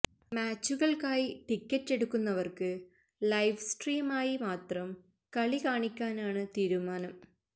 മാച്ചുകൾക്കായി ticket എടുക്കുന്നവർക്ക് live സ്ട്രീമായി മാത്രം കളി കാണിക്കാനാണ് തീരുമാനം